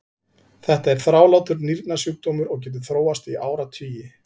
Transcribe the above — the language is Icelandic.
þetta er þrálátur nýrnasjúkdómur og getur þróast í áratugi